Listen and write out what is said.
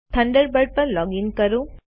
Thunderbird પર login કરો